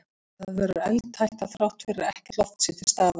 Það verður eldhætta þrátt fyrir að ekkert loft sé til staðar.